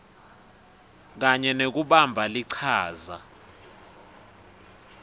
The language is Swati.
kanye nekubamba lichaza